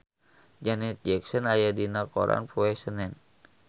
Janet Jackson aya dina koran poe Senen